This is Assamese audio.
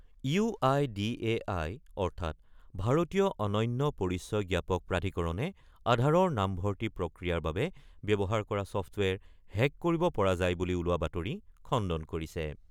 UIDAI অৰ্থাৎ ভাৰতীয় অনন্য পৰিচয় জ্ঞাপক প্ৰাধিকৰণে আধাৰৰ নামভৰ্তি প্ৰক্ৰিয়াৰ বাবে ব্যৱহাৰ কৰা ছফটৱেৰ হেক কৰিব পৰা যায় বুলি ওলোৱা বাতৰি খণ্ডন কৰিছে।